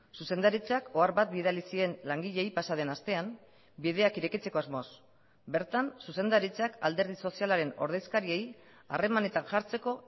zuzendaritzak ohar bat bidali zien langileei pasa den astean bideak irekitzeko asmoz bertan zuzendaritzak alderdi sozialaren ordezkariei harremanetan jartzeko